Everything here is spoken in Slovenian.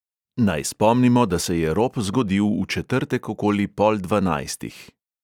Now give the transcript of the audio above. Naj spomnimo, da se je rop zgodil v četrtek okoli pol dvanajstih.